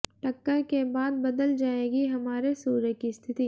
टक्कर के बाद बदल जाएगी हमारे सूर्य की स्थिति